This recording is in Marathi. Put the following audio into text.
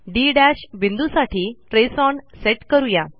डी बिंदूसाठी ट्रेस ओन सेट करू या